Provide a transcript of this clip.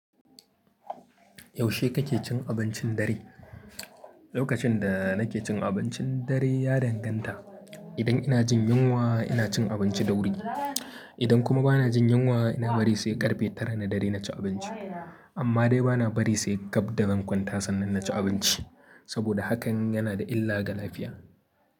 Yaushe kake cin abincin dare? Lokacin da nake cin abincin dare ya danganta. Idan ina jin yunwa, ina cin abinci da wuri. Idan kuma ba na jin yunwa, ina bari sai ƙarfe tara na dare na ci abinci. Amma dai ba na bari sai gab da zan kwanta sannan na ci abinci, saboda hakan yana da illa ga lafiya.